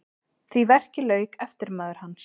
Því verki lauk eftirmaður hans